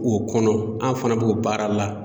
O kɔnɔ an fana b'o baara la